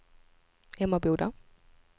Emmaboda